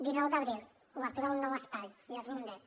dinou d’abril obertura un nou espai llars mundet